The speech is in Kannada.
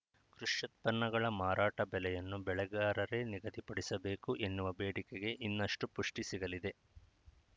ಕೃಷ್ಯುತ್ಪನ್ನಗಳ ಮಾರಾಟ ಬೆಲೆಯನ್ನು ಬೆಳೆಗಾರರೇ ನಿಗದಿಪಡಿಸಬೇಕು ಎನ್ನುವ ಬೇಡಿಕೆಗೆ ಇನ್ನಷ್ಟುಪುಷ್ಟಿಸಿಗಲಿದೆ